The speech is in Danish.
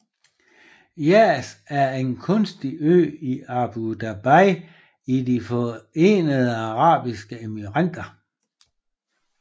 Yas er en kunstig ø i Abu Dhabi i de Forenede Arabiske Emirater